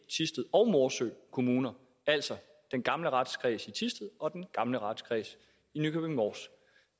thisted og morsø kommuner altså den gamle retskreds i thisted og den gamle retskreds i nykøbing mors